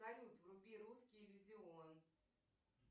салют вруби русский иллюзион